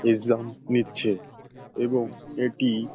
exam নিচ্ছে এবং এটি--